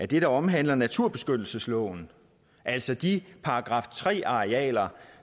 det der omhandler naturbeskyttelsesloven altså de § tre arealer